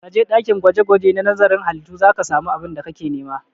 Ka je ɗakin gwaje-gwaje na nazarin halittu za ka samu abin da kake nema!